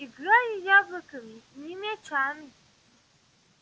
играли яблоками не мячами